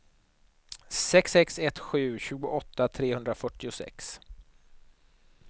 sex sex ett sju tjugoåtta trehundrafyrtiosex